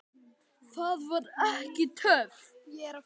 Það var ekki töff.